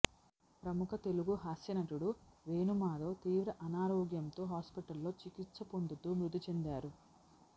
ప్రముఖ తెలుగు హాస్య నటుడు వేణు మాధవ్ తీవ్ర అనారోగ్యంతో హాస్పిటల్లో చికిత్స పొందుతూ మృతి చెందారు